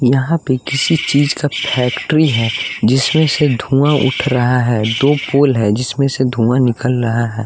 यहाँ पे किसी चीज़ का फैक्ट्री है जिसमें से धुआँ उठ रहा है दो पोल है जिसमें से धुआं निकल रहा है।